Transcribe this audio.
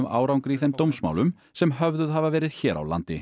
árangri í þeim dómsmálum sem höfðuð hafa verið hér á landi